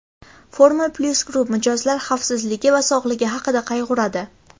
FormulaPlus Group - mijozlar xavfsizligi va sog‘ligi haqida qayg‘uradi.